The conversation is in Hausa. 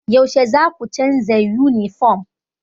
Yaushe zaku canza yunifom?